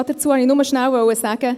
Dazu wollte ich nur schnell sagen: